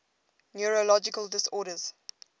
neurological disorders